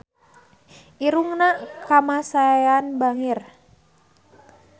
Irungna Kamasean bangir